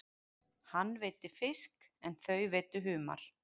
Hann veiddi fisk en þau veiddu humar.